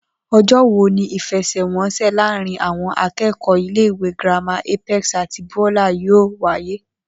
O̩jó̩ wo ni ìfe̩sè̩wo̩nsè̩ láàárín àwo̩n aké̩kò̩ó̩ ilé ìwé girama Apex àti Beulah yóò wáyé?